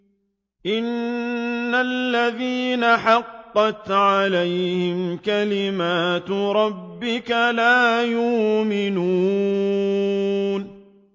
إِنَّ الَّذِينَ حَقَّتْ عَلَيْهِمْ كَلِمَتُ رَبِّكَ لَا يُؤْمِنُونَ